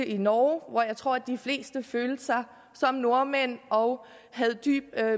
i norge hvor jeg tror de fleste følte sig som nordmænd og havde dyb